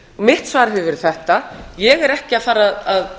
mitt svar hefur verið þetta ég er ekki að fara að